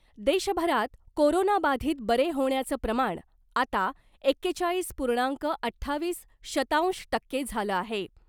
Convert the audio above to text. देशभरात कोरोनाबाधित बरे होण्याचं प्रमाण आता एकेचाळीस पुर्णांक अठ्ठावीस शतांश टक्के झालं आहे .